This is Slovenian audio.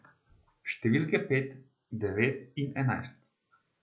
Številke pet, devet in enajst.